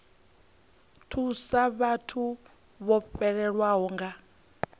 thusa vhathu vho fhelelwaho nga